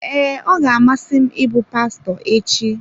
Ee, ọ ga-amasị m ịbụ pastọ echi.